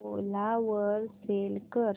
ओला वर सेल कर